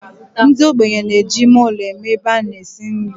Ndi ogbenye na-eji ime ulo eme ebe a na-esi nri.